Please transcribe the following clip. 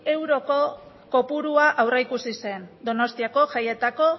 euroko kopurua aurreikusi zen donostiako jaietako